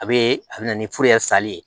A be a be na ni sali ye